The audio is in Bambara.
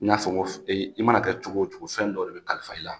N y'a fɔ n ko e i mana kɛ cogo o cogo fɛn dɔ de bɛ kalifa i la